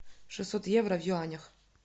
шестьсот евро в юанях